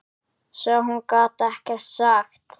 Svo hún gat ekkert sagt.